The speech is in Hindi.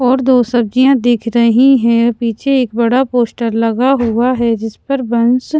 और दो सब्जियाँ दिख रही हैं पीछे एक बड़ा पोस्टर लगा हुआ है जिसपर वंश --